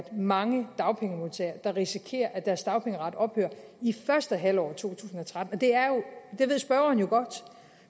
mange dagpengemodtagere der risikerer at deres dagpengeret ophører i første halvår af to tusind og tretten det ved spørgeren jo godt